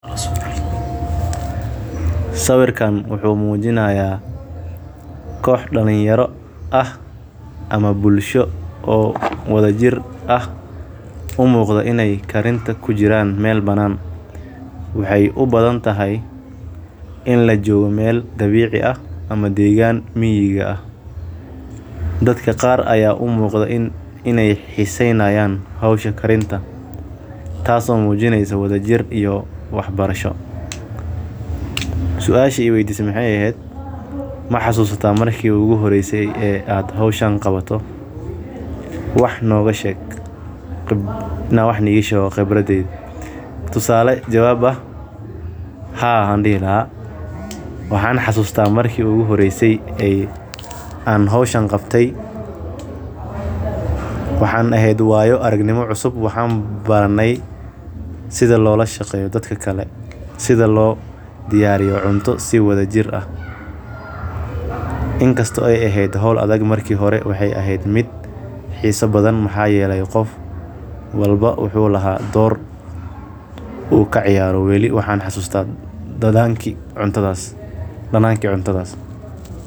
Sawiirkaan wuxuu mujinaaya koox dad dalinyarada ah umuqda inaay kujiraan wax karin ama deegan miiga ah taas oo mujineyso wada jir iyo iskaashi wax nooga sheeg khibradaada haa waxaan xasuusta marki iigu horeyse aan qabto waxeey eheed waayo aragnimo cusub waxaan barte sida dadka kale loola shqeeyo sida cunta loo kariyo ayaan barte.